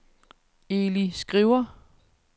Eli Skriver